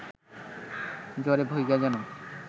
জ্বরে ভুইগা যেন